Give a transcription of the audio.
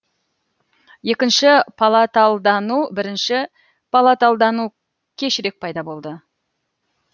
екінші палаталдану бірінші палаталдану кешірек пайда болды